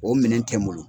O minɛn tɛ n bolo